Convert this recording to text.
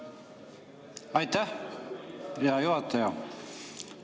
Aitäh, hea juhataja!